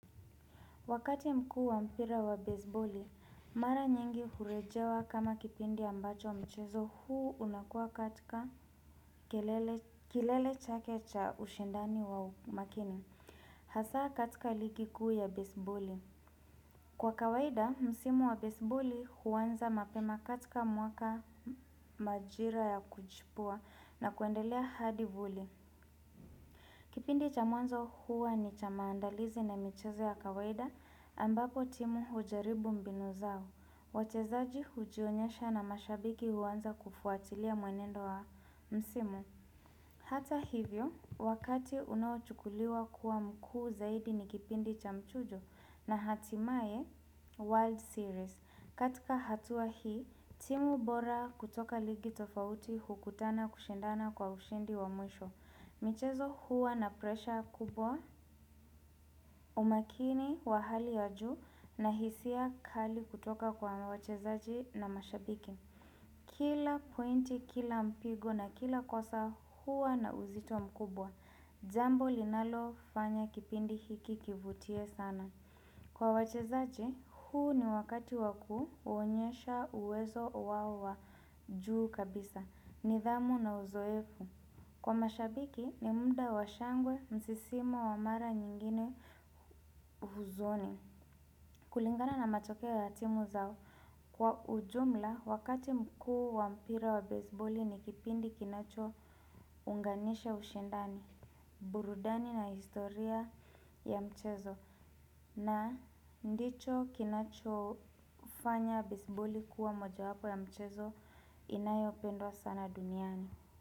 Wakati mkuu wa mpira wa baseboli, mara nyingi hurejewa kama kipindi ambacho mchezo huu unakua katika kilele chake cha ushindani wa umakini. Hasa katika ligi kuu ya baseboli kwa kawaida msimu wa baseboli huanza mapema katika mwaka majira ya kujipua na kuendelea hadi vuli. Kipindi cha mwanzo huwa ni cha maandalizi na michezo ya kawaida ambapo timu hujaribu mbinu zao. Wachezaji hujionyesha na mashabiki huanza kufuatilia mwenendo wa msimu. Hata hivyo, wakati unaochukuliwa kuwa mkuu zaidi ni kipindi cha mchujo na hatimaye World Series. Katika hatua hii, timu bora kutoka ligi tofauti hukutana kushindana kwa ushindi wa mwisho. Michezo huwa na presha kubwa umakini wa hali ya juu na hisia kali kutoka kwa wachezaji na mashabiki. Kila pointi, kila mpigo na kila kosa huwa na uzito mkubwa, jambo linalofanya kipindi hiki kivutie sana. Kwa wachezaji, huu ni wakati wakuonyesha uwezo wao wa juu kabisa, nidhamu na uzoefu. Kwa mashabiki, ni muda wa shangwe, msisimo wa mara nyingine uhuzoni. Kulingana na matokeo ya timu zao. Kwa ujumla, wakati mkuu wa mpira wa baseboli ni kipindi kinachounganisha ushindani, burudani na historia ya mchezo. Na ndicho kinachofanya baseboli kuwa moja wapo ya mchezo inayopendwa sana duniani.